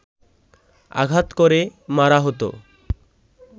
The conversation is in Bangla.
আঘাত করে মারা হতো